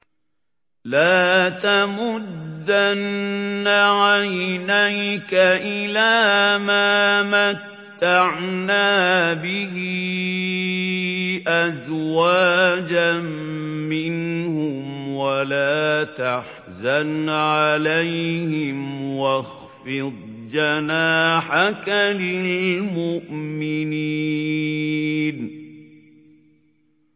لَا تَمُدَّنَّ عَيْنَيْكَ إِلَىٰ مَا مَتَّعْنَا بِهِ أَزْوَاجًا مِّنْهُمْ وَلَا تَحْزَنْ عَلَيْهِمْ وَاخْفِضْ جَنَاحَكَ لِلْمُؤْمِنِينَ